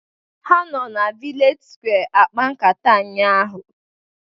Ha nọ na vilej sụkwé akpa nkata ụnyaahụ